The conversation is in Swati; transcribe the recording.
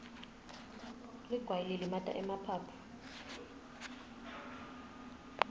ligwayi lilimata emaphaphu